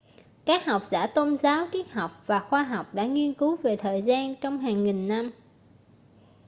các học giả tôn giáo triết học và khoa học đã nghiên cứu về thời gian trong hàng nghìn năm